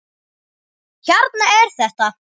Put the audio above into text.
Hérna er þetta!